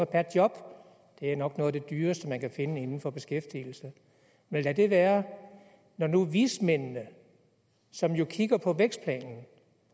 per job det er nok noget af det dyreste man kan finde inden for beskæftigelse men lad det være når nu vismændene som jo kigger på vækstplanen